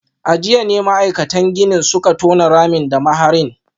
A jiya ne ma’aikatan ginin suka tona ramin da maharin